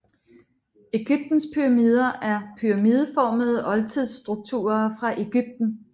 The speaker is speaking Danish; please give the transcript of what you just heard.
Egyptens pyramider er pyramideformede oldtidsstrukturer fra Egypten